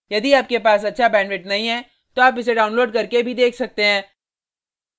यदि आपके पास अच्छा बैंडविड्थ नहीं है तो आप इसे डाउनलोड करके देख भी सकते हैं